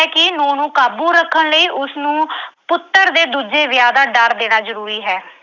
ਕਿ ਨੂੰਹ ਨੂੰ ਕਾਬੂ ਰੱਖਣ ਲਈ ਉਸਨੂੰ ਪੁੱਤਰ ਦੇ ਦੂਜੇ ਵਿਆਹ ਦਾ ਡਰ ਦੇਣਾ ਜ਼ਰੂਰੀ ਹੈ।